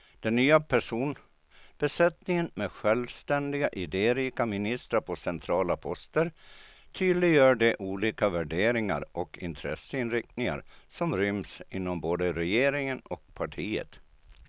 Den nya personbesättningen med självständiga, idérika ministrar på centrala poster tydliggör de olika värderingar och intresseinriktningar som ryms inom både regeringen och partiet.